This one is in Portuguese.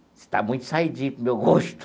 Você está muito saidinho, para o meu gosto.